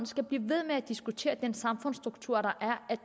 skal blive ved med at diskutere den samfundsstruktur der er